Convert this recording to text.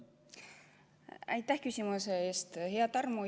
Aitäh küsimuse eest, hea Tarmo!